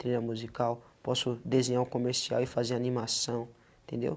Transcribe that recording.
Trilha musical, posso desenhar o comercial e fazer animação, entendeu?